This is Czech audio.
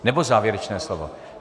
Nebo závěrečné slovo?